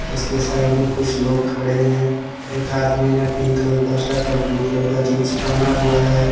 उसके साइड में कुछ लोग खड़े हैं एक आदमी ने पिंक कलर का शर्ट और ब्लू कलर का जींस पहना हुआ है।